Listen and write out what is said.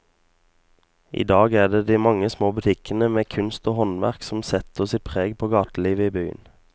I dag er det de mange små butikkene med kunst og håndverk som setter sitt preg på gatelivet i byen.